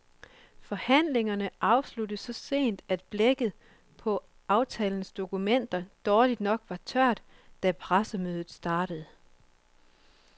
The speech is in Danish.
Forhandlingerne afsluttedes så sent, at blækket på aftalens dokumenter dårligt nok var tørt, da pressemødet startede.